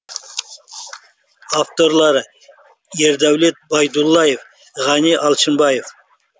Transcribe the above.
авторлары ердәулет байдуллаев ғани алшынбаев